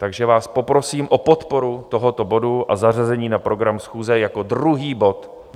Takže vás poprosím o podporu tohoto bodu a zařazení na program schůze jako druhý bod.